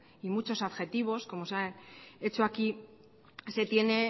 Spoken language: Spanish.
y muchos adjetivos como se han hecho aquí se tiene